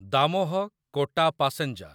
Damoh Kota passenger